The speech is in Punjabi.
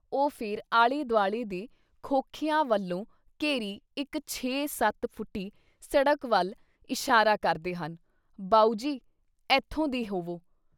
ਉਹ ਫਿਰ ਆਲੇ-ਦੁਆਲੇ ਦੇ ਖੋਖਿਆਂ ਵੱਲੋਂ ਘੇਰੀ ਇੱਕ ਛੇ ਸੱਤ ਫੁੱਟੀ ਸੜਕ ਵੱਲ ਇਸ਼ਾਰਾ ਕਰਦੇ ਹਨ - ਬਾਊ ਜੀ! ਅੱਥੋਂ ਦੀ ਹੋਵੋ।